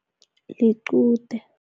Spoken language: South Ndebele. Liqude.